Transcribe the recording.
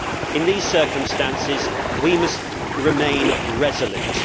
In these circumstances, we must remain resolute.